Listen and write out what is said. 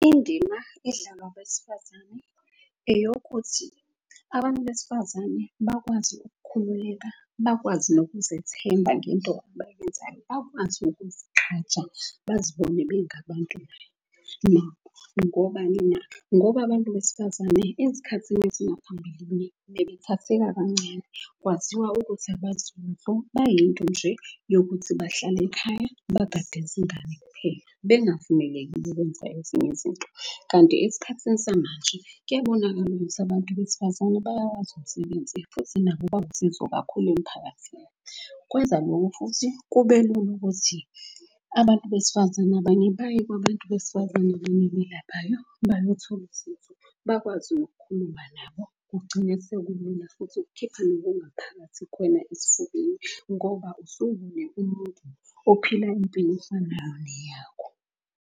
Indima edlalwa abesifazane eyokuthi abantu besifazane bakwazi ukukhululeka. Bakwazi nokuzethemba ngento abayenzayo bakwazi ukuzigqaja, bazibone bengabantu nabo. Ngobani na? Ngoba abantu besifazane ezikhathini ezingaphambilini bebethatheka kancane. Kwaziwa ukuthi abazi lutho, bayinto nje yokuthi bahlale ekhaya bagade izingane kuphela. Bekungavumelekile kwenza ezinye izinto kanti esikhathini samanje kuyabonakala ukuthi bantu besifazane bayawazi umsebenzi. Futhi nabo bawusizo kakhulu emphakathini. Kwenza loko futhi kube lula ukuthi abantu besifazane abanye baye kwabantu besifazane, abanye abelaphayo bayothola usizo. Bakwazi nokukhuluma nabo. Kugcine sekulula futhi ukukhipha nokungaphathi kuwena esifubeni ngoba umuntu ophila impilo efanayo neyakho.